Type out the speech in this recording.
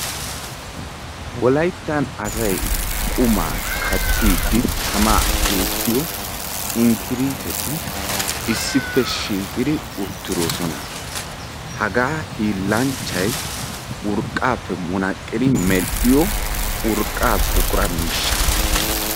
wolayttani assay qumma kaatidi go"etiyo inkirtee issippe shiiqid beettosona hagekka urqqappe meretiya miisha.